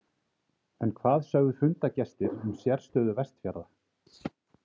En hvað sögðu fundargestir um sérstöðu Vestfjarða?